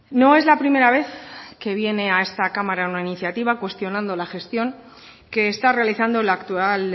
no es la primera vez que viene a esta cámara una iniciativa cuestionando la gestión que está realizando la actual